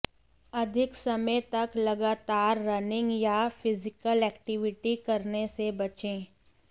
अधिक समय तक लगातार रनिंग या फिजिकल एक्टिविटी करने से बचें